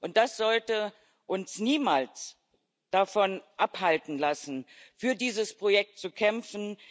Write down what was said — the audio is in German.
Und wir sollten uns niemals davon abhalten lassen, für dieses Projekt zu kämpfen.